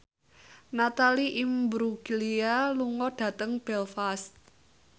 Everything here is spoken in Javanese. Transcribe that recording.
Natalie Imbruglia lunga dhateng Belfast